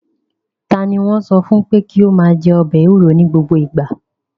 Ta ni wọ́n sọ fún pé kí ó máa jẹ ọbẹ̀ ewuro ní gbogbo ìgbà?